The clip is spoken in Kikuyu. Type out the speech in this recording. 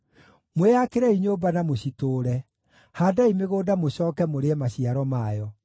“Mwĩyakĩrei nyũmba na mũcitũũre; haandai mĩgũnda mũcooke mũrĩe maciaro mayo.